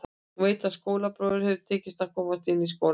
Hún veit að skólabróður hafði tekist að komast inn í skólann árið áður.